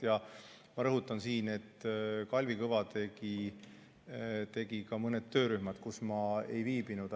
Ja ma rõhutan siin, et Kalvi Kõva tegi ka mõned töörühmad, kus ma ei viibinud.